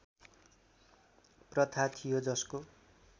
प्रथा थियो जसको